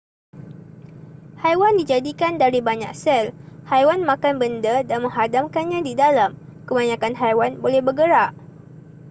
haiwan dijadikan dari banyak sel haiwan makan benda dan menghadamkannya di dalam kebanyakan haiwan boleh bergerak